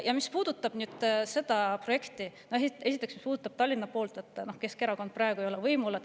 Ja mis puudutab seda projekti, esiteks Tallinna poolt, siis Keskerakond ei ole praegu seal võimul.